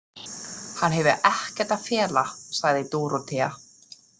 Hann hefur ekkert að fela, sagði Dórótea.